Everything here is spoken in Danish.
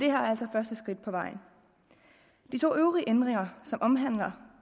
er altså første skridt på vejen de to øvrige ændringer som omhandler